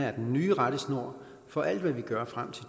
er den nye rettesnor for alt hvad vi gør frem til